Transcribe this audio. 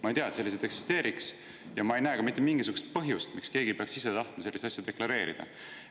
Ma ei tea, et selliseid eksisteeriks, ja ma ei näe ka mitte mingisugust põhjust, miks keegi peaks ise tahtma sellist asja deklareerida.